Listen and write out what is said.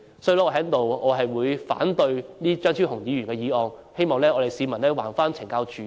所以，我反對張超雄議員的議案，希望市民還懲教署一個公道。